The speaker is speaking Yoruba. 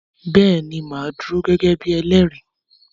Bẹ́ẹ̀ ni màá dúró gẹ́gẹ́ bí elẹ́rìí.